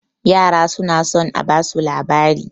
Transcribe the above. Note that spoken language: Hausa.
yara suna son a basu labari